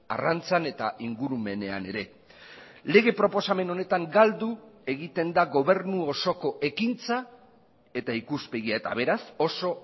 arrantzan eta ingurumenean ere lege proposamen honetan galdu egiten da gobernu osoko ekintza eta ikuspegia eta beraz oso